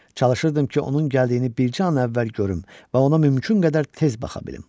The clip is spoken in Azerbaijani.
Çalışırdım ki, onun gəldiyini bircə an əvvəl görüm və ona mümkün qədər tez baxa bilim.